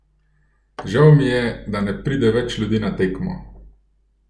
Žal mi je, da ne pride več ljudi na tekmo.